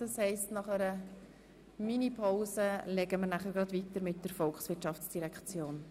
Das heisst, nach einer MiniPause werden wir gleich mit den Geschäften der Volkswirtschaftsdirektion weiterfahren.